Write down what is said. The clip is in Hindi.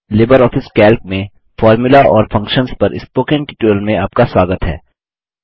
लिबर ऑफिस कैल्क में फ़ॉर्मूला और फंक्शन्स पर स्पोकन ट्यूटोरियल में आपका स्वगात है